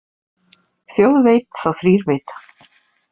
Þjóð veit þá þrír vita.